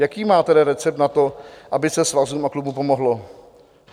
Jaký má tedy recept na to, aby se svazům a klubům pomohlo?